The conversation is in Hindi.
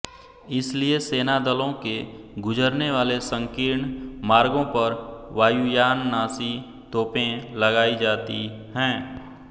इसलिए सेनादलों के गुजरनेवाले संकीर्ण मार्गों पर वायुयाननाशी तोपें लगाई जाती हैं